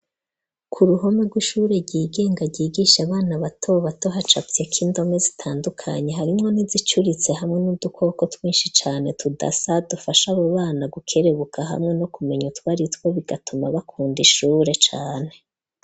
Ku ruhome, rw'ishure ryigenga, ryigisha abana, bato bato, hacafyeko indome, zitandukanye, harimwo n'izicuritse; hamwe n'udukoko, twishi cane, tudasa, dufasha abo bana, gukerebuka, hamwe no kumenya utwaritwo, bigatuma, bakunda ishure cane.